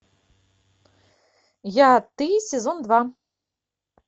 я ты сезон два